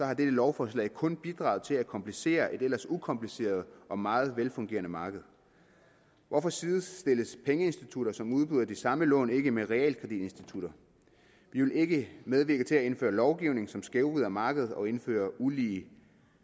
har dette lovforslag kun bidraget til at komplicere et ellers ukompliceret og meget velfungerende marked hvorfor sidestilles pengeinstitutter som udbyder de samme lån ikke med realkreditinstitutter vi vil ikke medvirke til at indføre lovgivning som skævvrider markedet og indfører ulige